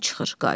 Hamı çıxır.